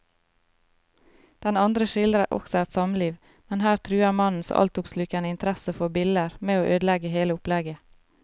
Den andre skildrer også et samliv, men her truer mannens altoppslukende interesse for biller med å ødelegge hele opplegget.